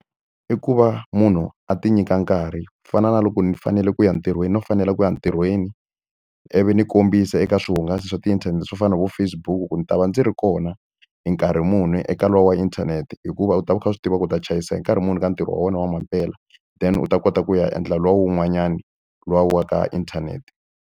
I ku va munhu a ti nyika nkarhi. Ku fana na loko ndzi fanele ku ya ntirhweni no fanele ku ya ntirhweni, ivi ndzi kombisa eka swihungaso swa tiinthanete swo fana na vo Facebook ku ni ta va ndzi ri kona wona hi nkarhi muni eka lowu wa inthanete. Hikuva u ta va u kha u swi tiva ku u ta chayisa hi nkarhi muni ka ntirho wa wena wa mampela, then u ta kota ku ya endla luwa wun'wanyani luwa wa ka inthanete.